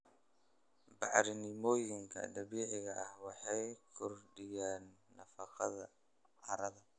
Bacrimiyooyinka dabiiciga ah waxay kordhiyaan nafaqada carrada.